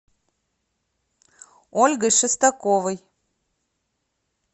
ольгой шестаковой